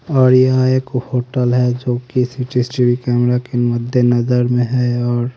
और यह एक होटल है जो कि सी_सी_टी_वी कैमरा के मध्य नजर में है और--